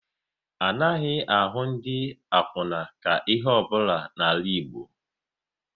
Anaghị ahụ ndị akwuna ka ihe ọ bụla n'ala Igbo